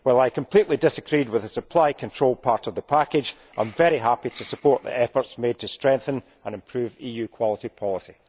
While I completely disagreed with the supply control part of the package, I am very happy to support the efforts made to strengthen and improve EU quality policy.